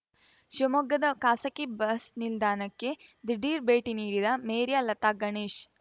ಶೀವಮೊಗ್ಗದ ಖಾಸಗಿ ಬಸ್‌ ನಿಲ್ದಾಣಕ್ಕೆ ದಿಢೀರ್‌ ಭೇಟಿ ನೀಡಿದ ಮೇರ್ಯಾ ಲತಾ ಗಣೇಶ್‌